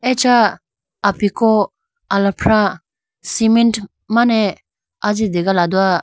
Acha apiku alafra cement mane ajite hogala do.